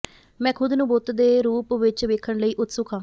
ਮੈਂ ਖੁਦ ਨੂੰ ਬੁੱਤ ਦੇ ਰੂਪ ਵਿੱਚ ਵੇਖਣ ਲਈ ਉਤਸੁਕ ਹਾਂ